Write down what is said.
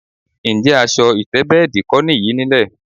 Ǹjé̩ as̩o̩ ìté̩bé̩è̩dì kó̩ nìyí nílè̩?